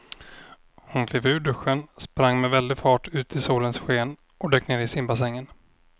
Hon klev ur duschen, sprang med väldig fart ut i solens sken och dök ner i simbassängen.